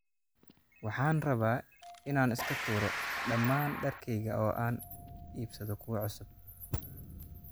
Waxaan rabaa inaan iska tuuro dhammaan dharkayga oo aan iibsado kuwo cusub